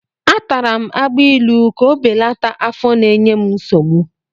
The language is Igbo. Atara m agbailu ka o belata afọ na-enye m nsogbu.